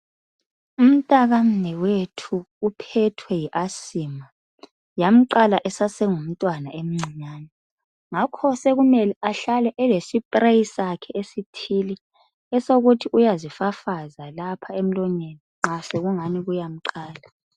Umntaka mnewethu uphethwe yi asima. Yamqala esasengumntwana emncinyane. Ngakho sekumele ahlale elesipuleyo sakhe esithile esokuthi uyazifafaza lapha emlonyeni nxa sekungani kuyamqala.